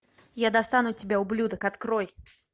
я достану тебя ублюдок открой